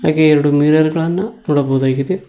ಗೆ ಎರಡು ಮಿರರ್ ಗಳನ್ನ ನೋಡಬಹುದಾಗಿದೆ.